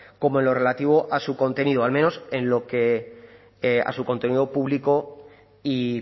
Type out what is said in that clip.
como en lo relativo a su contenido al menos en lo que a su contenido público y